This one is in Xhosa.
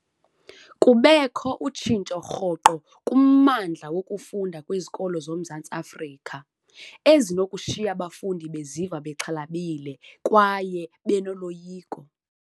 Kubekho utshintsho rhoqo kummandla wokufunda kwizikolo zoMzantsi Afrika, ezinokushiya abafundi beziva bexhalabile kwaye benoloyiko.